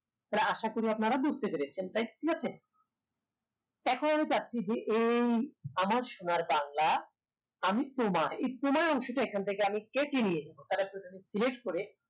তাহলে আশা করি আপনারা বুঝতে পেরেছেন তাইতো ঠিক আছে তা এখন চাচ্ছি যে এই আমার সোনার বাংলা আমি তোমায় এই তোমায় অংশটা এখান থেকে আমি কেটে নিয়ে যাবো select করে